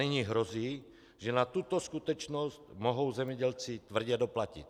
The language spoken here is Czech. Nyní hrozí, že na tuto skutečnost mohou zemědělci tvrdě doplatit.